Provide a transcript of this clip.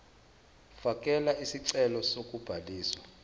fakela isicelo sokubhaliswa